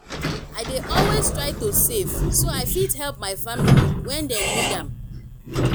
i dey always try to save so i fit help my family when dem need am.